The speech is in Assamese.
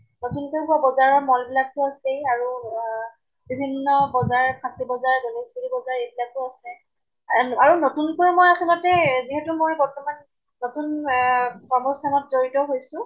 নতুন কে বজাৰৰ mall বিলাক তো আছেই। আৰু আহ বিভিন্ন বজাৰ ফাঁচী বজাৰ গনেশ্গুৰী বজাৰ এইবিলাকো আছে। আম আৰু নতুন কৈ মই আচলতে এহ যিহেতু মই বৰ্তমান নতুন এহ কৰ্মস্থানত জড়িত হৈছো